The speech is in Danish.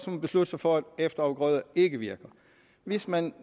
man beslutte sig for at efterafgrøder ikke virker hvis man